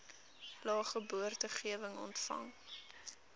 lae geboortegewig ontvang